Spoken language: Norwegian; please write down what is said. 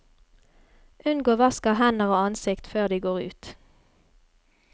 Unngå vask av hender og ansikt før de går ut.